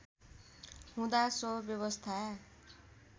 हुँदा सो व्यवस्था